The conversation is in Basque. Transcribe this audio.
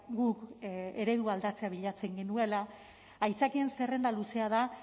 guk eredua aldatzea bilatzen genuela aitzakien zerrenda luzea da